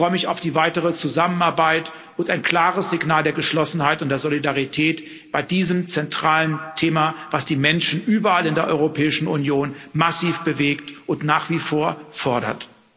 Ich freue mich auf die weitere Zusammenarbeit und ein klares Signal der Geschlossenheit und der Solidarität bei diesem zentralen Thema, das die Menschen überall in der Europäischen Union massiv bewegt und nach wie vor fordert.